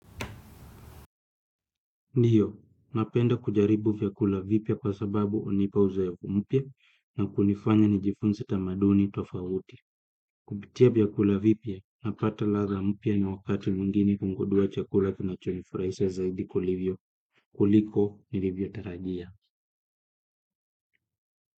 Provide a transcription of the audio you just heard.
Ndiyo, napenda kujaribu vyakula vipya kwa sababu unipa uzoefu mpya na kunifanya nijifunze tamaduni tofauti. Kupitia vyakula vipya napata ladha mpya na wakati mwingine kungudua chakula kinachonifuraisha zaidi kulivyo kuliko nilivyo tarajia.